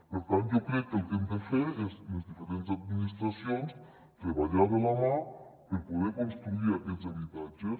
per tant jo crec que el que hem de fer és les diferents administracions treballar de la mà per poder construir aquests habitatges